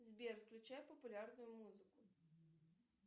сбер включай популярную музыку